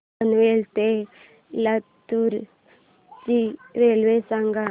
पनवेल ते लातूर ची रेल्वे सांगा